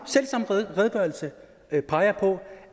redegørelse peger på